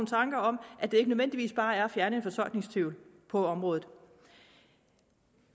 tanker om at det ikke nødvendigvis bare er at fjerne en fortolkningstvivl på området